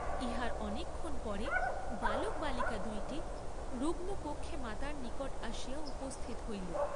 ইহার অনেকক্ষণ পরে বালক বালিকা দুইটি, রুগ্নকক্ষে মাতার নিকট আসিয়া উপস্থিত হইল।